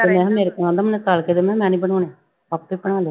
ਤੇ ਮੈਂ ਕਿਹਾ ਮੇਰੇ ਮੈਨੂੰ ਤਲ ਕੇ ਦੇ ਮੈਂ ਕਿਹਾ ਮੈਂ ਨੀ ਬਣਾਉਣੇ, ਆਪੇ ਬਣਾ ਲਏ।